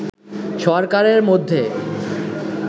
সরকারের মধ্যে